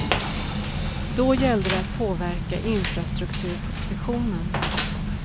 Då gällde det att påverka infrastrukturpropositionen.